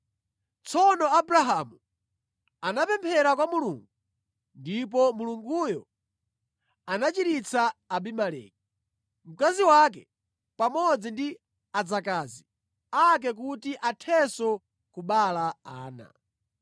Tsono Abrahamu anapemphera kwa Mulungu ndipo Mulunguyo anachiritsa Abimeleki, mkazi wake pamodzi ndi adzakazi ake kuti athenso kubereka ana.